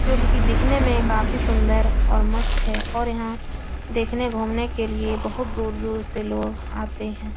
जो कि दिखने में काफी सुंदर और मस्त है और यहाँ देखने घूमने के लिए बहोत दूर-दूर से लोग आते हैं।